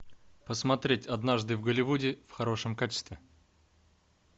посмотреть однажды в голливуде в хорошем качестве